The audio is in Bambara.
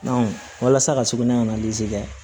walasa ka sugunɛ ka na kɛ